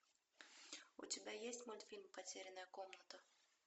у тебя есть мультфильм потерянная комната